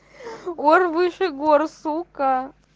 ор выше гор сука